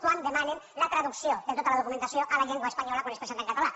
quan demanen la traducció de tota la documentació a la llengua espanyola quan es presenta en català